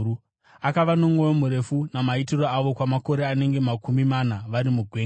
akava nomwoyo murefu namaitiro avo kwamakore anenge makumi mana vari mugwenga,